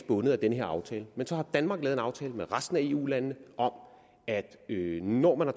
bundet af den her aftale men så har danmark lavet en aftale med resten af eu landene om at vi når man har